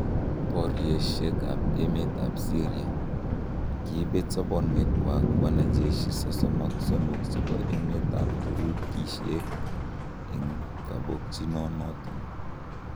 Boriosiek ab emet ab Syria: Kiibet sobosiekwak wanajeshi 33 chebo emet ab Turuikiek en kobogkinoton.